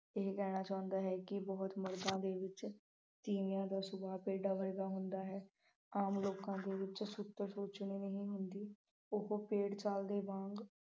ਇਹ ਕਹਿਣਾ ਚਾਹੁੰਦਾ ਹੈ ਕਿ ਬਹੁਤ ਮਰਦਾਂ ਦੇ ਵਿੱਚ ਤੀਵੀਂਆਂ ਦਾ ਸੁਭਾਅ ਭੇਡਾਂ ਵਰਗਾ ਹੁੰਦਾ ਹੈ। ਆਮ ਲੋਕਾਂ ਕੋਲ ਸੁਰਤ ਸੋਚਣੀ ਨਹੀਂ ਹੁੰਦੀ ਉਹ ਭੇਡ ਚਾਲ ਦੇ ਵਾਂਗ